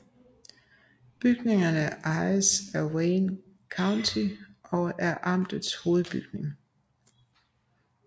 Bygningen ejes af Wayne County og er amtets hovedbygning